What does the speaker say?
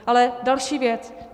Ale další věc.